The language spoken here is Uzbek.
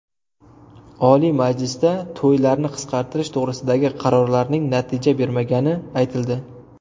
Oliy Majlisda to‘ylarni qisqartirish to‘g‘risidagi qarorlarning natija bermagani aytildi.